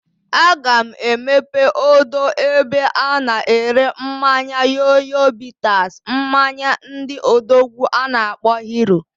A ga m emepe odo ebe a na ere mmanya Yoyo bitters, mmanya ndị odogwu a na akpo Hero.